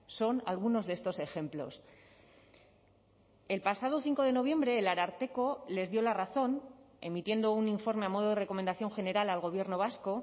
son algunos de estos ejemplos el pasado cinco de noviembre el ararteko les dio la razón emitiendo un informe a modo de recomendación general al gobierno vasco